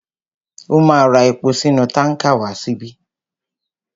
Ó ma ra epo sínú tánkà wá síbí.